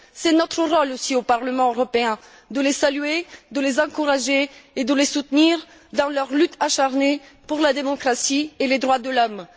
C'est notre rôle aussi au Parlement européen de les saluer, de les encourager et de les soutenir dans leur lutte acharnée pour la démocratie et les droits de l'Homme.